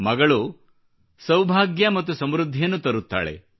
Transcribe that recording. ಮಗಳು ಸೌಭಾಗ್ಯ ಮತ್ತು ಸಮೃದ್ಧಿಯನ್ನು ತರುತ್ತಾಳೆ